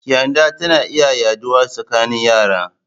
Kyanda tana iya yaɗawa tsakanin yara